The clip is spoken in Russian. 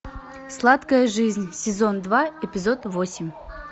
сладкая жизнь сезон два эпизод восемь